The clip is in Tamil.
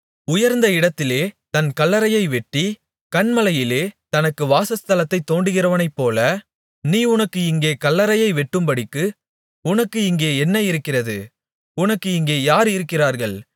உயர்ந்த இடத்திலே தன் கல்லறையை வெட்டி கன்மலையிலே தனக்கு வாசஸ்தலத்தைத் தோண்டுகிறவனைப்போல நீ உனக்கு இங்கே கல்லறையை வெட்டும்படிக்கு உனக்கு இங்கே என்ன இருக்கிறது உனக்கு இங்கே யார் இருக்கிறார்கள்